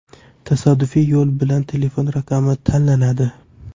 Tasodifiy yo‘l bilan telefon raqami tanlanadi.